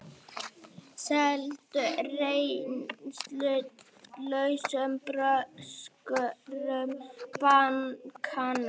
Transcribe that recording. Seldu reynslulausum bröskurum bankana